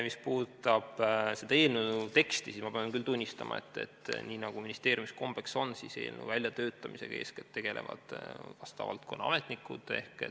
Mis puudutab eelnõu teksti, siis ma pean küll tunnistama, et nii nagu ministeeriumis kombeks on, eelnõu väljatöötamisega tegelevad eeskätt vastava valdkonna ametnikud.